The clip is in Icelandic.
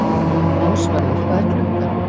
Ásvarður, hvað er klukkan?